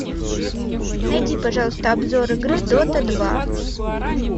найди пожалуйста обзор игры дота два